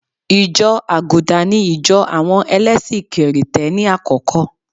Ìjọ àgùdà ní ìjọ̀ àwọn ẹlẹ́sì kì̀rìtẹ́ni àkọ́kọ́.